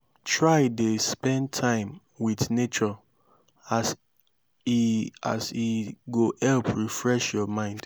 try dey spend time wit nature as e as e go help refresh yur mind